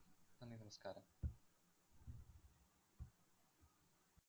നന്ദി, നമസ്കാരം.